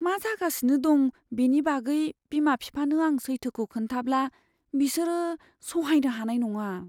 मा जागासिनो दं बेनि बागै बिमा बिफानो आं सैथोखौ खोन्थाब्ला, बिसोरो सहायनो हानाय नङा।